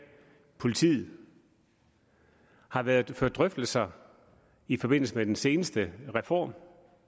politiet har været ført drøftelser i forbindelse med den seneste reform